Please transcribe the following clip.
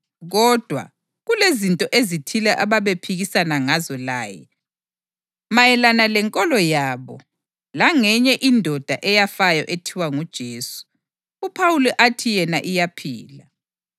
Kodwa, kulezinto ezithile ababephikisana ngazo laye mayelana lenkolo yabo langenye indoda eyafayo ethiwa nguJesu, uPhawuli athi yena iyaphila.